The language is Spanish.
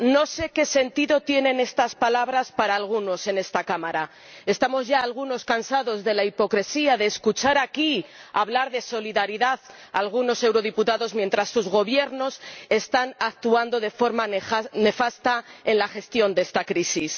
Señor Presidente rápido, urgente, inmediato no sé qué sentido tienen estas palabras para algunos en esta Cámara. Estamos ya, algunos, cansados de la hipocresía de escuchar aquí hablar de solidaridad a algunos eurodiputados, mientras sus Gobiernos están actuando de forma nefasta en la gestión de esta crisis.